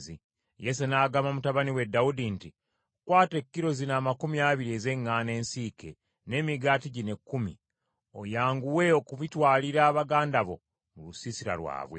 Yese n’agamba mutabani we Dawudi nti, “Kwata ekkilo zino amakumi abiri ez’eŋŋaano ensiike n’emigaati gino ekkumi, oyanguwe okubitwalira baganda bo mu lusiisira lwabwe.